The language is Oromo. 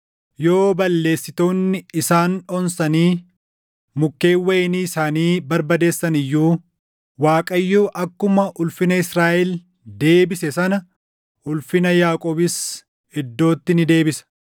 Yoo balleessitoonni isaan onsanii mukkeen wayinii isaanii barbadeessan iyyuu, Waaqayyo akkuma ulfina Israaʼel deebise sana ulfina Yaaqoobis iddootti ni deebisa.